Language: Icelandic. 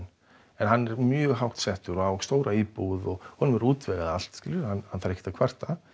en hann er mjög hátt settur og á stóra íbúð og honum er útvegað allt og þarf ekkert að kvarta